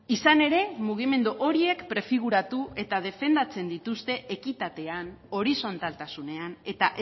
izan ere mugimendu horiek prefiguratu eta defendatzen dituzte ekitatean horizontaltasunean eta